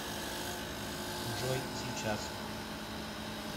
джой сейчас